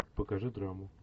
покажи драму